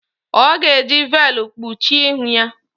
Ọ ga-eji veelụ kpuchie ihu ya.